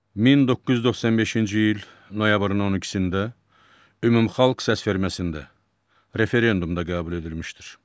1995-ci il noyabrın 12-də ümumxalq səsverməsində referendumda qəbul edilmişdir.